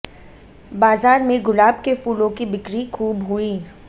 बाजार में गुलाब के फूलों की बिक्री खूब हुई